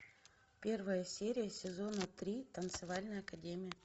первая серия сезона три танцевальная академия